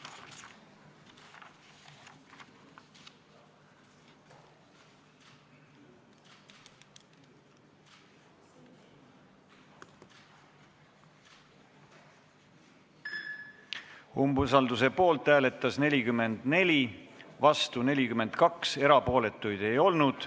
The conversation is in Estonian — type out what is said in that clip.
Hääletustulemused Umbusalduse poolt hääletas 44 Riigikogu liiget, vastu oli 42 ja erapooletuid ei olnud.